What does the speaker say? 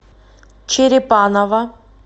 черепаново